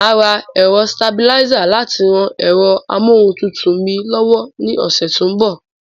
Màá ra ẹ̀rọsitabilísà láti ran ẹ̀rọ amóhuntutù mi lọ́wọ́ ní ọ̀sẹ̀ tó ń bọ̀.